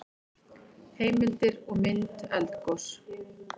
Heimildir og mynd Eldgos.